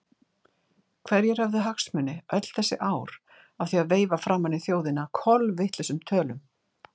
Hverjir höfðu hagsmuni öll þessi ár af því að veifa framan í þjóðina kolvitlausum tölum?